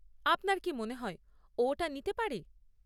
আপনার কী মনে হয় ও এটা নিতে পারে?